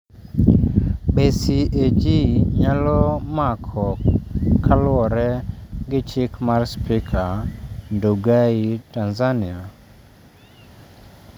Be CAG nyalo mako kaluwore gi chik mar spika Ndugai Tanzania?